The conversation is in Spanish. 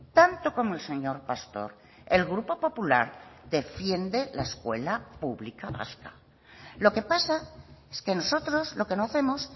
tanto como el señor pastor el grupo popular defiende la escuela pública vasca lo que pasa es que nosotros lo que no hacemos